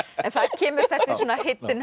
kemur